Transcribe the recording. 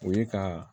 O ye ka